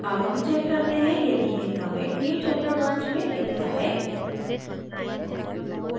अब हम check करते हैं यदि यह commit newchapter branch में दिखता है